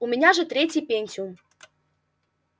у меня же третий пентиум